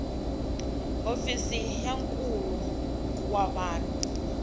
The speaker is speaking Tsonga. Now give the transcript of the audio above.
hofisi ya nkulo wa vanhu